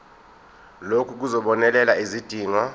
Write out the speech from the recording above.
lokhu kuzobonelela izidingo